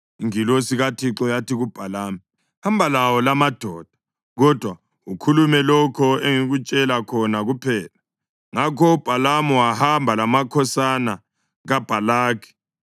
Ingilosi kaThixo yathi kuBhalamu, “Hamba lawo lamadoda, kodwa ukhulume lokho engikutshela khona kuphela.” Ngakho uBhalamu wahamba lamakhosana kaBhalaki.